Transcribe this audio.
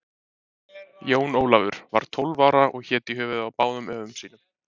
Jón Ólafur var 12 ára og hét í höfuðið á báðum öfum sínum.